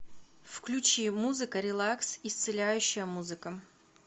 включи музыка релакс исцеляющая музыка